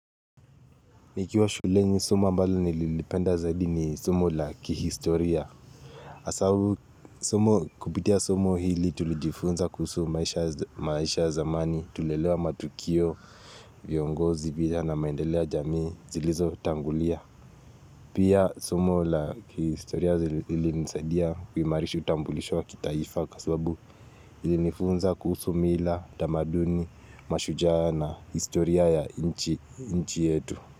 Nikiwa shuleni somo ambalo nililipenda zaidi ni somo la kihistoria asabu somo kupitia somo hili tulijifunza kuhusu maisha ya zamani, tulielewa matukio, viongozi, pia na maendeleo ya jamii zilizotangulia Pia somo la kihistoria ilinisadia kuimarisha utambulisho wa kitaifa kwa sababu ilinifunza kuhusu mila, utamaduni, mashujaa na historia ya nchi yetu.